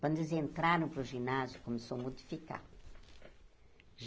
Quando eles entraram para o ginásio, começou modificar.